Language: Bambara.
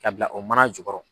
K'a bila o mana jukɔrɔ.